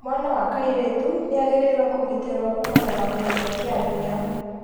Mwana wa kairĩtu nĩ agĩrĩirwo kũgitĩrwo kuumana na kũnyitwo kĩa hinya